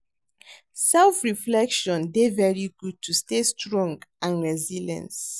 Self reflection dey very good to stay strong and resilience.